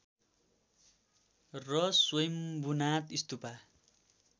र स्वयम्भूनाथ स्तुपा